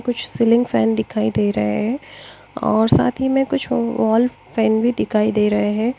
कुछ ceiling fan दिखाई दे रहे है और साथ ही में कुछ वॉल फैन भी दिखाई दे रहे हैं।